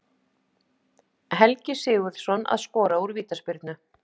Helgi Sigurðsson að skora úr vítaspyrnu.